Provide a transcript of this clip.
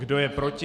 Kdo je proti?